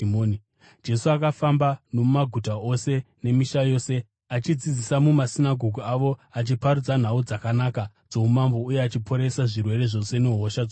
Jesu akafamba nomumaguta ose nemisha yose, achidzidzisa mumasinagoge avo achiparidza nhau dzakanaka dzoumambo uye achiporesa zvirwere zvose nehosha dzose.